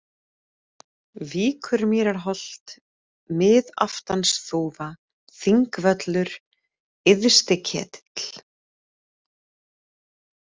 Víkurmýrarholt, Miðaftansþúfa, Þingvöllur, Yðsti-Ketill